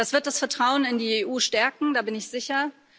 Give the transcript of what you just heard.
Das wird das Vertrauen in die EU stärken, da bin ich sicher.